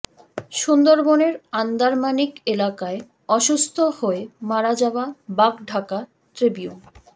সুন্দরবনের আন্দারমানিক এলাকায় অসুস্থ হয়ে মারা যাওয়া বাঘ ঢাকা ট্রিবিউন